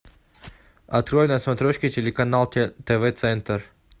открой на смотрешке телеканал тв центр